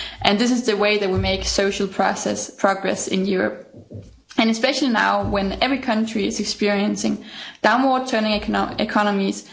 This is the way that we will make social process progress in Europe, and especially now, when every country is experiencing downward turning economies.